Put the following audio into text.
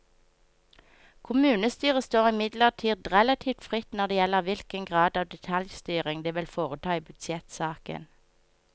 Kommunestyret står imidlertid relativt fritt når det gjelder hvilken grad av detaljstyring det vil foreta i budsjettsaken.